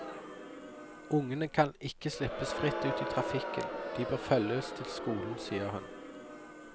Ungene kan ikke slippes fritt ut i trafikken, de bør følges til skolen, sier hun.